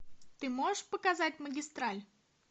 ты можешь показать магистраль